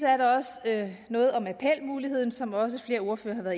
er der også noget om appelmuligheden som også flere ordførere